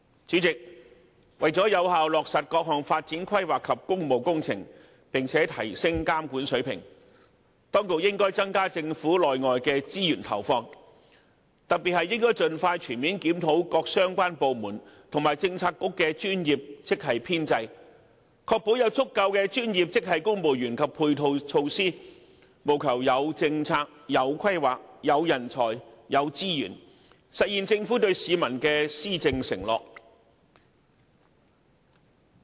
主席，為了有效落實各項發展規劃及工務工程，並且提升監管水平，當局應增加政府內外的資源投放，特別應盡快全面檢討各相關部門及政策局的專業職系編制，確保有足夠的專業職系公務員及配套措施，務求有政策、有規劃、有人才、有資源，實現政府對市民的施政承諾。